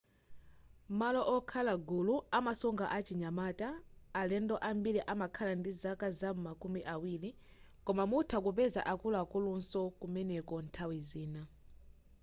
malo okhala gulu amasunga achinyamata alendo ambili amakhala ndi zaka zam'ma kumi awiri koma mutha kupeza akuluakulunso kumeneku nthawi zina